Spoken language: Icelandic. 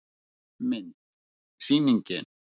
Mynd: Sýningin.